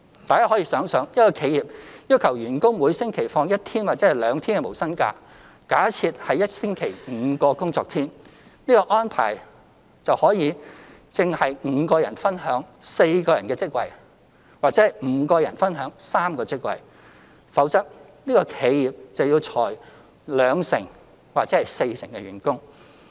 大家可以想想，一間企業要求員工每星期放一天或兩天無薪假，假設是一星期5天工作，這個安排正是5人分享4個職位或5人分享3個職位，否則這企業便要裁減兩成或四成員工。